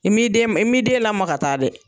I m'i den i m'i den lama ka taa dɛ!